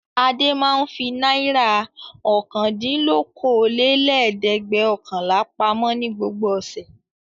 Adé máa ń fi náírà ọ̀kàndìnlókóólélẹ́ẹ̀dẹ́gbẹ̀ọ̀kànlá pamọ́ ní gbogbo ọ̀sẹ̀.